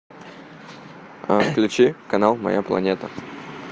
включи канал моя планета